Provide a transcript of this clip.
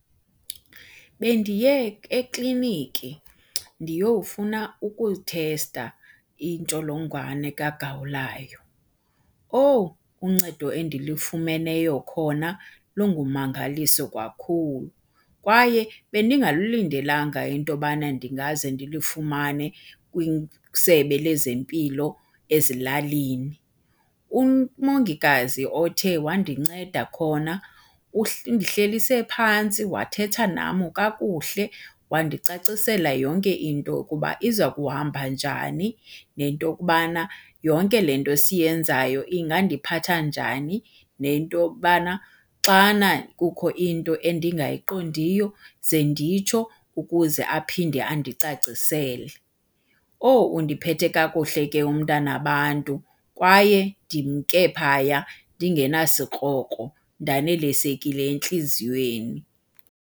Bendiye ekliniki ndiyowufuna ukuthesta intsholongwane kagawulayo. Owu, uncedo endilifumeneyo khona lungummangaliso kakhulu kwaye bendingalulindelanga into yobana ndingaze ndilifumane kwisebe lezempilo ezilalini. Umongikazi othe wandinceda khona undihlelise phantsi wathetha nam kakuhle wandicacisela yonke into yokuba iza kuhamba njani nento yokobana yonke le nto siyenzayo ingandiphatha njani, nento yobana xana kukho into endingayiqondiyo ze nditsho ukuze aphinde andicacisele. Owu, undiphethe kakuhle ke umntana wabantu, kwaye ndimnke phaya ndingenasikrokro ndanelisekile entliziyweni.